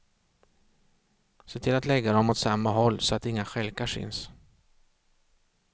Se till att lägga dem åt samma håll så att inga stjälkar syns.